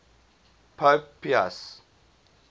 pope pius